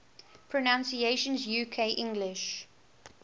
pronunciations uk english